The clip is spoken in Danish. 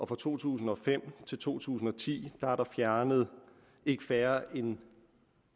fra to tusind og fem til to tusind og ti er der fjernet ikke færre end